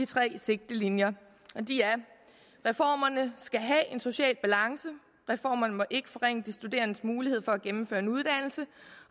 tre sigtelinjer og de er reformerne skal have en social balance reformerne må ikke forringe de studerendes mulighed for at gennemføre en uddannelse